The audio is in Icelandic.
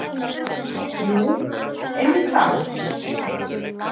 Jú, einmitt þar.